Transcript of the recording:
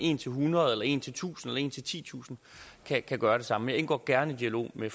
en til hundrede eller en til tusind eller en til titusind kan gøre det samme indgår gerne i dialog med